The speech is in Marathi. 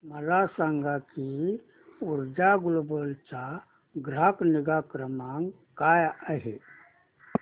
मला सांग की ऊर्जा ग्लोबल चा ग्राहक निगा क्रमांक काय आहे